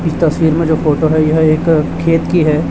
इस तस्वीर में जो फोटो है एक खेत की है।